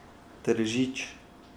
Tržič.